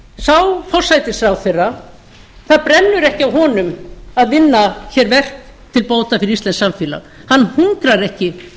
sá forsætisráðherra það brennur ekki á honum að vinna til bóta verk fyrir íslenskt samfélag hann hungrar ekki